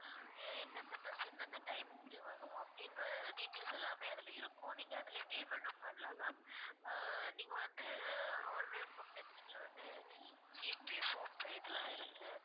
எந்தெந்த bus எந்தெந்த time க்கு வரும் அப்படின்ற details எல்லாமே அதுல இருக்கும் நீங்க அதுலயே payment டும் பண்ணலாம் ma'am ஆஹ் நீங்க வந்து online gpay phone pay இதெல்லாம் இருக்கு